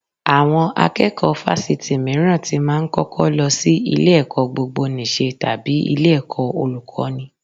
Àwọn akẹ́kọ̀ọ́ Fáṣítì mìíràn tí máa ń kọ́kọ́ lọ sí ilé-ẹ̀kọ́ gbogboníṣe tàbí ilé-ẹ̀kọ́ Olùkọ́ní